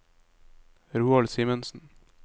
Roald Simensen